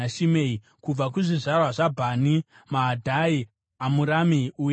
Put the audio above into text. Kubva kuzvizvarwa zvaBhani: Maadhai, Amurami, Ueri,